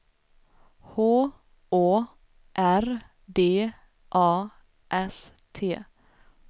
H Å R D A S T